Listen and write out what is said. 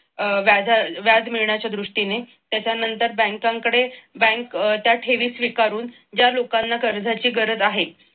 अह व्याज मिळण्याच्या दृष्टीने त्याच्यानंतर बँकांकडे बँक अह त्या ठेवी स्वीकारून ज्या लोकांना कर्जाची गरज आहे